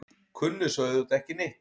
Kunni svo auðvitað ekki neitt.